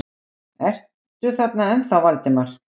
Ertu þarna ennþá, Valdimar?